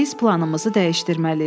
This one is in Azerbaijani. Biz planımızı dəyişdirməliyik.